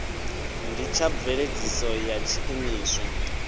ndi tsha mveledziso ya tshiimiswa